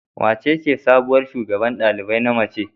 Wacece sabuwar shugaban ɗalibai na mace?